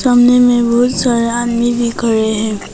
सामने मैं बहुत सारा आदमी भी खड़े हैं।